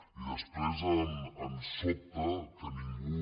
i després ens sobta que ningú